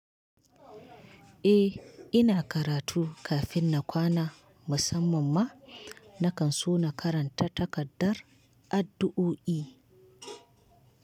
Eh, ina karatu kafin na kwana. Musamman ma na kan so na karanta takardar addu'o'i.